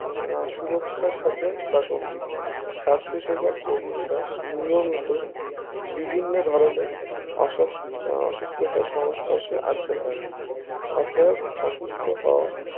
আহ সুরক্ষার সাথে প্রাসঙ্গিক স্বাস্থসেবা কর্মীরা নিয়মিত বিভিন্ন ধরণের অসুস্থতা অসুস্থতার সংস্পর্শে আস্তে পারে অতয়েব অসুস্থ হওয়ার